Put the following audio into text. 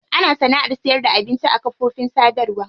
Ana sana'ar sayarda abinci a kafofin sadarwa.